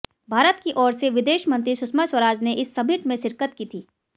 भारत की ओर से विदेश मंत्री सुषमा स्वराज ने इस समिट में शिरकत की थी